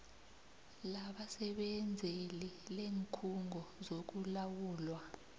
labasebenzeli leenkhungo zokulawulwa